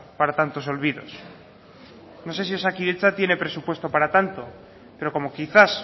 para tantos olvidos no sé si osakidetza tiene presupuesto para tanto pero como quizás